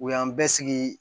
U y'an bɛɛ sigi